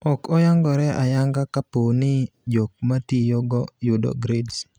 Ok oyangore ayanga kapooni jok matiyo go yudo grades.